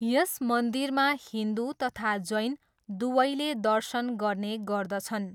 यस मन्दिरमा हिन्दु तथा जैन दुवैले दर्शन गर्ने गर्दछन्।